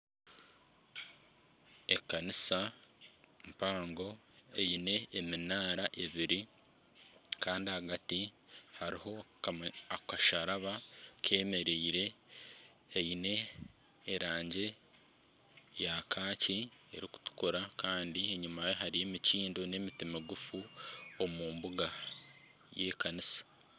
Ekanisa mpango eine eminaara ebiri Kandi ahagati hariho akasharaba kemereire kaine erangi ya kaaki ,erikutukura Kandi enyumaye hariyo emikindo nana emiti migufu omu mbuga y'ekanisa.